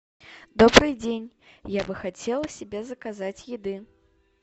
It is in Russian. добрый день я бы хотела себе заказать еды